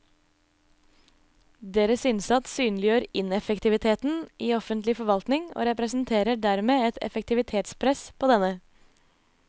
Deres innsats synliggjør ineffektiviteten i offentlig forvaltning og representerer dermed et effektivitetspress på denne.